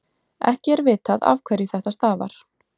ekki er vitað afhverju þetta stafar